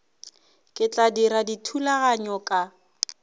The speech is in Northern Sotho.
ke tla dira dithulaganyo ka